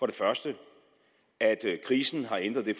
det første at krisen har ændret det